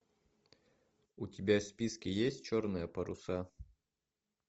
у тебя в списке есть черные паруса